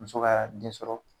Muso ka den sɔrɔ